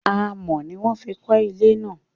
Amọ̀ ni wọ́n fi kọ́ ilé náà